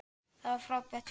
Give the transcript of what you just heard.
Það var frábært fjör.